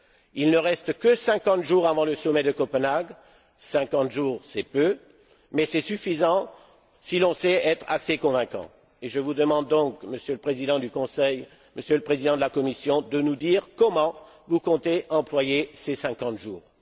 Il ne reste que 50 jours avant le sommet de Copenhague, 50 jours c'est peu, mais c'est suffisant si l'on sait être assez convaincant, et je vous demande donc, Monsieur le Président du Conseil, Monsieur le Président de la Commission, de nous dire comment vous comptez employer ces 50 jours.